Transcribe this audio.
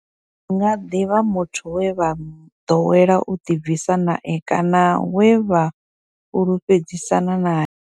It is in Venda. Hu nga ḓi vha muthu we vha ḓowela u ḓi bvisa nae kana we vha fhulufhedzisana nae.